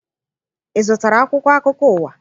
Ị zụtara akwụkwọ akụkọ ụwa?